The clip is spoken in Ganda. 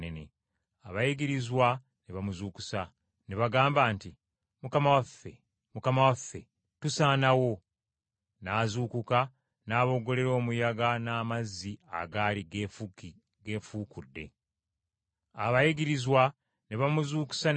Abayigirizwa ne bamuzuukusa, ne bagamba nti, “Mukama waffe, Mukama waffe, tusaanawo!” N’azuukuka n’aboggolera omuyaga n’amazzi agaali geefuukudde. Ne bikkakkana, ennyanja n’etteeka!